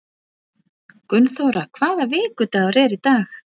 Gunnþóra, hvaða vikudagur er í dag?